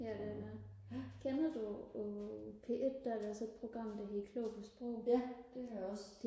ja det er det også kender du på P1 der er der sådan et program der hedder klog på sprog